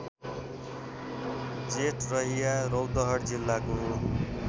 जेठरहिया रौतहट जिल्लाको